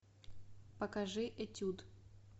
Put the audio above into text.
покажи этюд